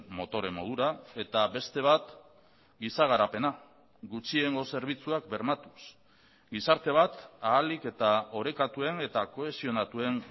motore modura eta beste bat giza garapena gutxiengo zerbitzuak bermatuz gizarte bat ahalik eta orekatuen eta kohesionatuen